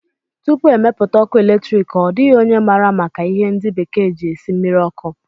Tupu e mepụta ọkụ eletriki, ọ dịghị onye maara maka ihe ndi bekee ji esi mmiri ọkụ